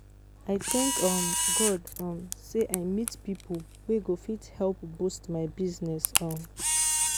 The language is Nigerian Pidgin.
I thank um God um say I meet people wey go fit help boost my business um